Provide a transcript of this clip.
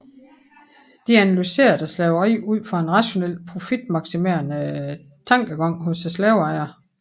De analyserede slaveriet ud fra en rationel profitmaksimerende tankegang hos slaveejerne